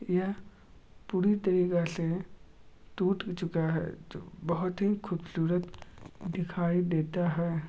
यह पूरी तरीके से टूट चुका है जो बहुत ही खूबसूरत दिखाई देता है।